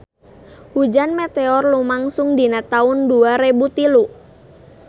Hujan meteor lumangsung dina taun dua rebu tilu